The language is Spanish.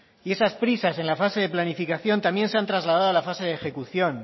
y esas prisas en la fase de planificación también se han trasladado a la fase de ejecución